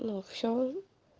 ну всё